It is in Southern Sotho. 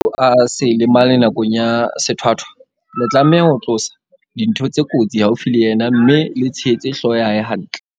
"Hore motho a se lemale nakong ya sethwathwa, le tlameha ho tlosa dintho tse kotsi haufi le yena mme le tshehetse hlooho ya hae hantle."